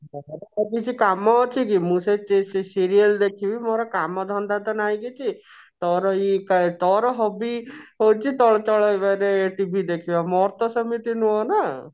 ମୋର ଆଉ କିଛି କାମ ଅଛି କି ମୁଁ ସେଇ serial ଦେଖିବି ମୋର କାମ ଧନ୍ଦା ତ ନାଇଁ କିଛି ତୋର ଏଇ ଆ ତୋର hobby ହଉଛି ତୋର ଚଳେଇବାରେ TV ଦେଖିବା ମୋର ତ ସେମିତି ନୁହଁ ନା